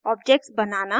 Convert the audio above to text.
objects बनाना